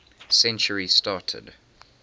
century started